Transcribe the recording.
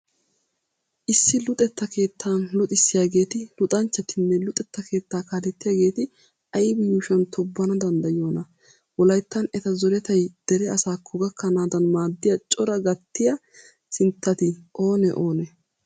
Issi luxetta keettan luxissiyageeti, luxanchchatinne luxetta keettaa kaalettiyageeti aybi yuushuwan tobbana danddayiyonaa? Wolayttan eta zoretay dere asaakko gakkanaadan maaddiya coraa gattiya sinttati oonee oonee ?